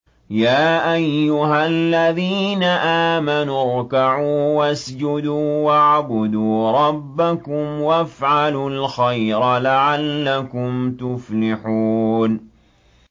يَا أَيُّهَا الَّذِينَ آمَنُوا ارْكَعُوا وَاسْجُدُوا وَاعْبُدُوا رَبَّكُمْ وَافْعَلُوا الْخَيْرَ لَعَلَّكُمْ تُفْلِحُونَ ۩